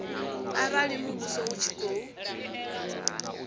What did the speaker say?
arali muvhuso u tshi khou